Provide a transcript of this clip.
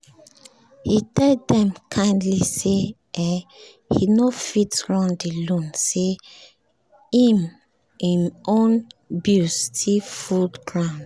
he tell dem kindly say um e no fit run the loan say him own bills still full ground